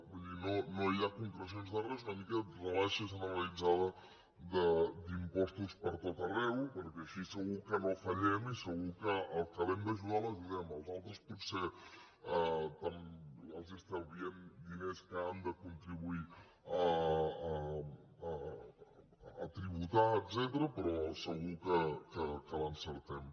vull dir no hi ha concrecions de res una mica rebaixa generalitzada d’impostos per tot arreu perquè així segur que no fallem i segur que al que hem d’ajudar l’ajudem als altres potser els estalviem diners que han de contribuir a tributar etcètera però segur que l’encertem